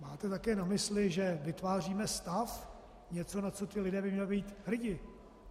Máte také na mysli, že vytváříme stav, něco, na co ti lidé by měli být hrdí?